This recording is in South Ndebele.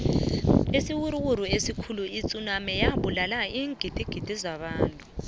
isiwuruwuru esikhuli itsunami wabulala iingdigidi zabantu